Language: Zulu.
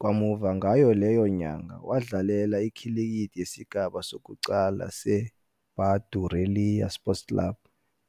Kamuva ngayo leyo nyanga, wadlalela ikhilikithi yesigaba sokuqala seBadureliya Sports Club